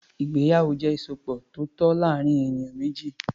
Ìgbéyàwó jẹ́ ìsopọ̀ tó tọ́ láàárín ènìyàn méjì.